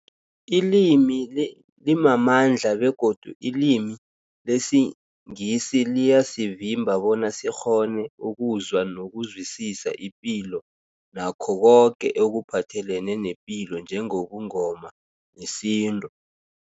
Ilimi li limamandla begodu ilimi lesiNgisi liyasivimba bona sikghone ukuzwa nokuzwisisa ipilo nakho koke ekuphathelene nepilo njengobuNgoma nesintu.